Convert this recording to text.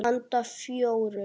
Handa fjórum